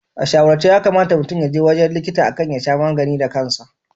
A shawarce yakamata mutum yaje wurin likita akan ya sha magani da kansa.